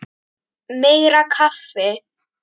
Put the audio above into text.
Meira kaffi!